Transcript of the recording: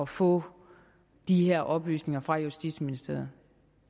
få de her oplysninger fra justitsministeriet